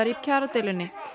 í kjaradeilunni